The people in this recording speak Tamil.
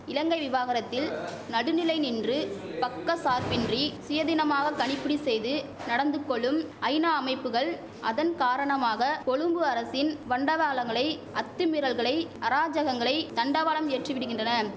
இலங்கை விவகாரத்தில் நடுநிலை நின்று பக்க சார்பின்றி சுயதினமாக கணிப்பிடு செய்து நடந்துகொளும் ஐநா அமைப்புகள் அதன் காரணமாக கொழும்பு அரசின் வண்டதாளங்களை அத்துமீறல்களை அராஜகங்களை தண்டவாளம் ஏற்றி விடுகின்றன